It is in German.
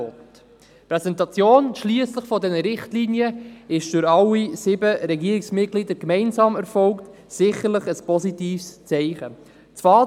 Die Präsentation dieser Richtlinien schliesslich erfolgte durch alle sieben Regierungsmitglieder gemeinsam, was sicher ein positives Zeichen ist.